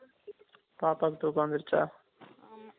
பாப்பாக்கு தூக்கம் வந்திருச்சா